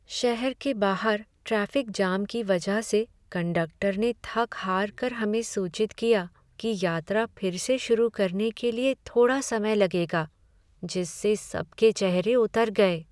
शहर के बाहर ट्रैफिक जाम के वजह से कंडक्टर ने थक हारकर हमें सूचित किया कि यात्रा फ़िर से शुरू करने के लिए थोड़ा समय लगेगा जिससे सबके चेहरे उतर गए।